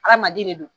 Hadamaden de do